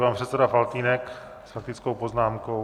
Pan předseda Faltýnek s faktickou poznámkou.